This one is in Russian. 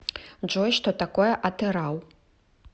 джой что такое атырау